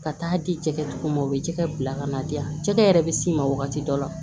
Ka taa di jɛgɛtigiw ma o bɛ jɛgɛ bila ka na di yan jɛgɛ yɛrɛ bɛ s'i ma wagati dɔ la